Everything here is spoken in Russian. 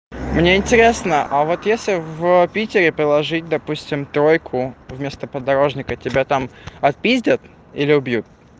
мне интересно а вот если в питере проложить допустим тройку вместо подорожника тебя там отпиздят или убьют